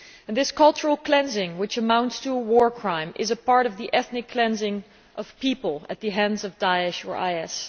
This cultural cleansing, which amounts to a war crime, is a part of the ethnic cleansing of people at the hands of Da'esh or IS.